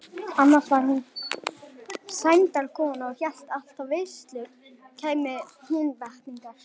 Annars var hún sæmdarkona og hélt alltaf veislur kæmu Húnvetningar.